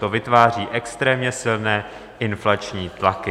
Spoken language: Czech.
To vytváří extrémně silné inflační tlaky.